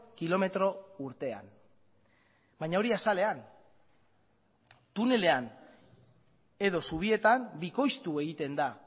kilometro urtean baina hori azalean tunelean edo zubietan bikoiztu egiten da